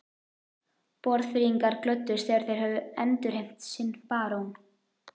Borgfirðingar glöddust þegar þeir höfðu endurheimt sinn barón.